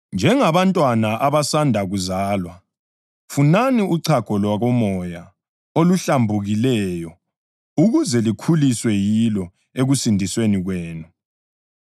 Njengabantwana abasanda kuzalwa, funani uchago lwakomoya oluhlambukileyo, ukuze likhuliswe yilo ekusindisweni kwenu,